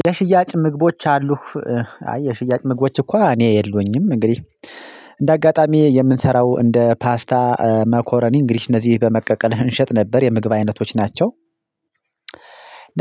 የሽያጭ ምግቦች አሉህ አይ የሽያጭ ምግቦች እኳ እኔ የለሁኝም። እንግዲህ እንደ አጋጣሚ የምንሰራው እንደ ፓስታ መኮረኒ እንግዲህ እነዚህ በመቀቀል እንሸጥ ነበር የምግብ አይነቶች ናቸው።